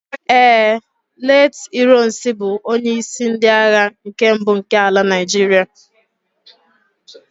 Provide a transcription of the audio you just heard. ee, late ironsi bu onye isi ndi agha nke mbu nke ala Naijiria